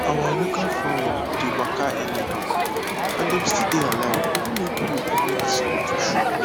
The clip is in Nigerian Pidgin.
our local fowl dey waka anyhow and dem still dey alive even if food or medicine no too show